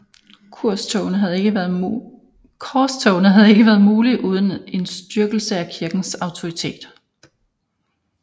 Korstogene havde ikke være mulige uden en styrkelse af kirkens autoritet